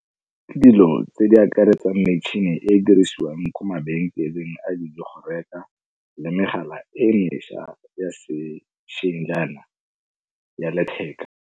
Ke dilo tse di akaretsang metšhini e e dirisiwang ko mabenkeleng a di le megala e e mešwa ya sešweng jaana ya letheka.